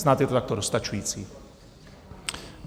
Snad je to takto dostačující.